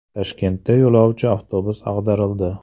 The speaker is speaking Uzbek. Toshkentda yo‘lovchi avtobus ag‘darildi.